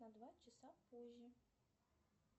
на два часа позже